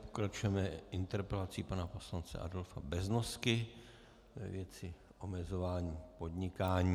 Pokračujeme interpelací pana poslance Adolfa Beznosky ve věci omezování podnikání.